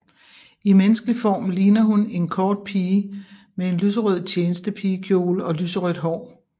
I menneskelig form ligner hun en kort pige med en lyserød tjenestepigekjole og lyserødt hår